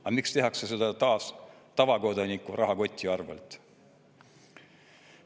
Aga miks tehakse seda taas tavakodaniku rahakoti arvelt?